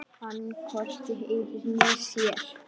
Hann hvorki heyrir né sér.